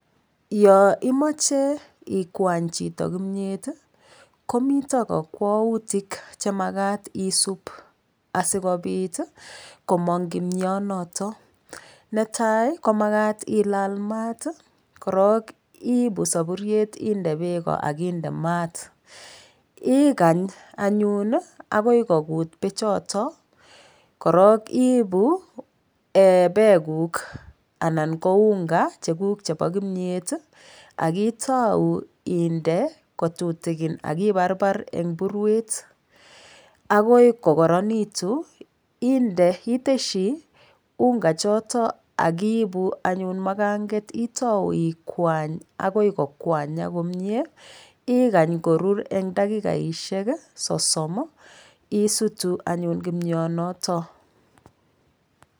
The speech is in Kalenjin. Yo imoche chito kimyet komito kokwoutik chemakat isup asikopit komong kimyonotok netai komakat ilal mat korom ipu sopuriet inde peko akindemaat akany anyun akoi kokuut pechoton korok ipu peekuk anan ko unga chekuk chepo kimyet akitou inde kotutikin akiparpar eng purwet akoi kokoronitu iteshi unga choto akiipu anyun makanget itou ikwany akoi kokwanyak komie ikany korur eng dakikaishek sosom isutu anyun kimyonotok.